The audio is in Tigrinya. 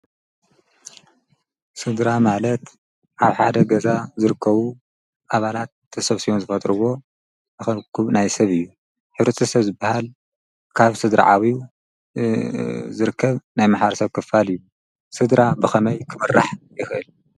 ሥድራ ማለት ሓብ ሓደ ገዛ ዘርከቡ ኣባላት ተሰብስዮን ዝፈትርዎ ነኸምኩም ናይ ሰብ እዩ ኅብርት ሰብ ዝበሃል ካብ ሥድራዓዊዩ ዘርከብ ናይ መሓርሰብ ክፋል እዩ ሥድራ ብኸመይ ኽምራሕ ይኽል።